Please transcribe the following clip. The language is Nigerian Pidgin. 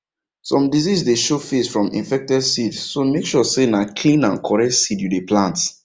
some disease dey show face from infected seed so make sure say na clean and correct seed you dey plant